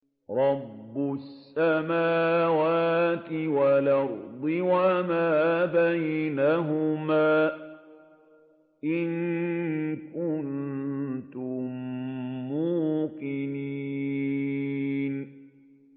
رَبِّ السَّمَاوَاتِ وَالْأَرْضِ وَمَا بَيْنَهُمَا ۖ إِن كُنتُم مُّوقِنِينَ